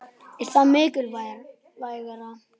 Er það mikilvægara?